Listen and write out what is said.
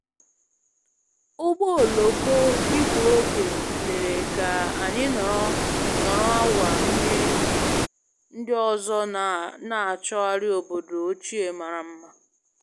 Ụgbọ oloko igbu oge mere ka anyị nọrọ nọrọ awa ndị ọzọ na-achọgharị obodo ochie mara mma.